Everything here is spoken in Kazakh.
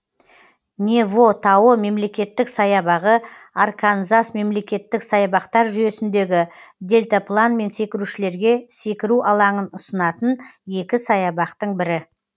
нево тауы мемлекеттік саябағы арканзас мемлекеттік саябақтар жүйесіндегі дельтапланмен секірушілерге секіру алаңын ұсынатын екі саябақтың бірі